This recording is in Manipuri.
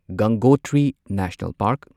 Gangotri National park